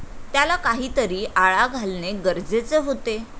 त्याला काहीतरी आळा घालणे गरजेचे होते.